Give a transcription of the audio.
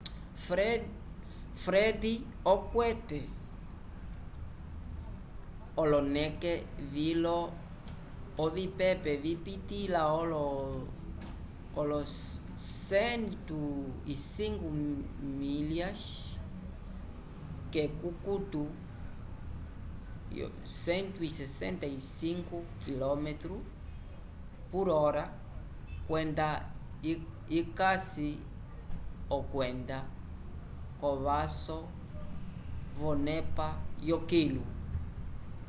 fred okwete oloneke vilo ovipepe vipitĩla olo 105 milhas k’ekukutu 165 km/h kwenda ikasi okwenda k’ovaso yonepa yokilu